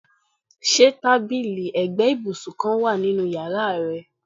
Ṣe tabili ẹgbẹ ibusun kan wa ninu yara rẹ?